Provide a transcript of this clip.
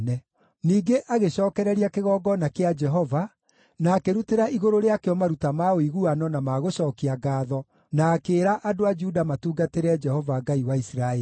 Ningĩ agĩcookereria kĩgongona kĩa Jehova, na akĩrutĩra igũrũ rĩakĩo maruta ma ũiguano na ma gũcookia ngaatho, na akĩĩra andũ a Juda matungatĩre Jehova Ngai wa Isiraeli.